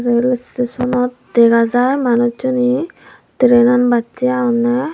rail station not dega jaar manuj chuney train nan bacche agonde.